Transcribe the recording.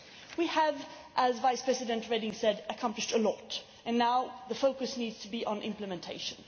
We have, as Vice President Reding said, accomplished a lot, and now the focus needs to be on implementation.